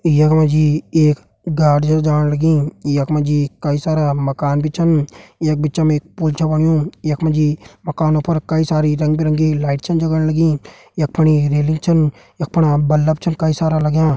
यक मजी एक गाड़ि छ जाण लगीं। यक मजी कई सारा मकान बि छन। यक बिच्चम एक पुल छ बण्यूं। यक मजी मकानों फर कई सारी रंग बिरंगी लाइट छन जगण लगीं। यक फणी रेलिंग छन। यक फणा बल्लब छन कई सारा लग्यां।